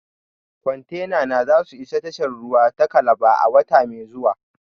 Kwantenana za su isa tashar ruwa ta Calabar a wata mai zuwa